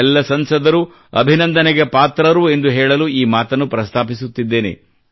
ಎಲ್ಲ ಸಂಸದರೂ ಅಭಿನಂದನೆಗೆ ಪಾತ್ರರು ಎಂದು ಹೇಳಲು ಈ ಮಾತನ್ನು ಪ್ರಸ್ತಾಪಿಸುತ್ತಿದ್ದೇನೆ